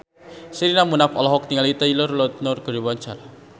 Sherina Munaf olohok ningali Taylor Lautner keur diwawancara